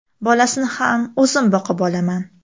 Bolasini ham o‘zim boqib olaman.